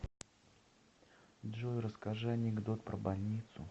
джой расскажи анекдот про больницу